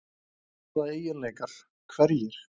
Hvaða eiginleikar, hverjir?